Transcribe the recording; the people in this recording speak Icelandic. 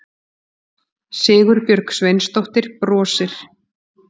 Sigurbjörg Sveinsdóttir brosir.